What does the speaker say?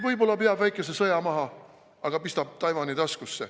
Võib-olla peab väikese sõja maha, aga pistab Taiwani taskusse.